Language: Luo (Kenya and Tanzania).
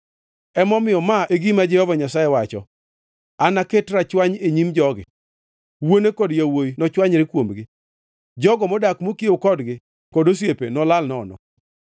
Emomiyo ma e gima Jehova Nyasaye wacho: “Anaket rachwany e nyim jogi. Wuone kod yawuowi nochwanyre kuomgi; jogo modak mokiewo kodgi kod osiepe nolal nono.”